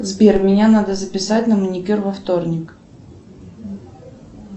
сбер меня надо записать на маникюр во вторник